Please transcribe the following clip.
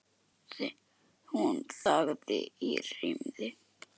Hún þagði um hríð.